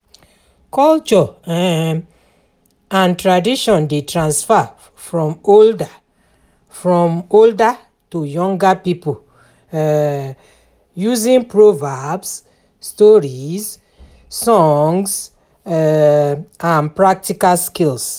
Culture um and tradition dey transfer from older from older to younger pipo um using proverbs, stories, songs um and practical skills